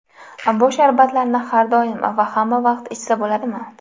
Bu sharbatlarni har doim va hamma ham ichsa bo‘ladimi?